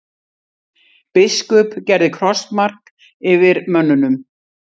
Biskup gerði krossmark fyrir mönnunum.